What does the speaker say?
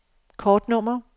kortnummer